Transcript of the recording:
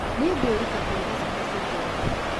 Nĩguĩruta kũruga cabaci njororo